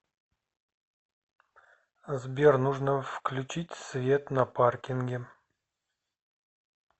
сбер нужно включить свет на паркинге